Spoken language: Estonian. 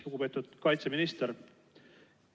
Lugupeetud kaitseminister!